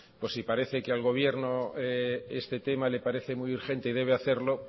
pues si parece que al gobierno este tema le parece muy urgente y debe hacerlo